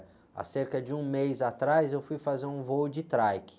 Há cerca de um mês atrás eu fui fazer um voo de trike.